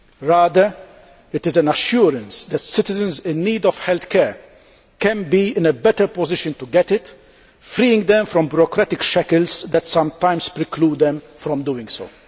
Rather, it is an assurance that citizens in need of healthcare can be in a better position to get it, freeing them from bureaucratic shackles that sometimes preclude them from doing so.